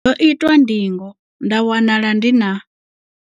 Ndo itwa ndingo nda wanala ndi na.